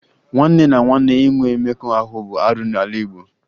Nwanne na nwanne inwe mmekọ ahụ bụ arụ n'ala Igbo